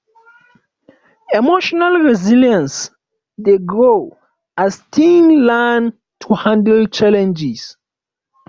emotional resilience dey grow as teens learn to handle challenges